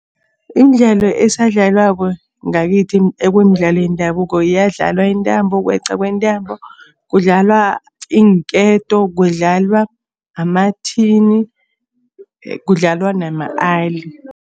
Imidlalo esadlalwako ngakithi ekumidlalo yendabuko iyadlalwa intambo, ukweqwa kwentambo, kudlalwa iinketo, kudlalwa amathini, kudlalwa nama-ali.